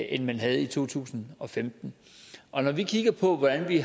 end man havde i to tusind og femten og når vi kigger på hvordan vi